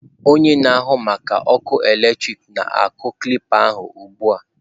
Onye na-ahụ maka ọkụ eletrik na-akụ kilips a ugbu a.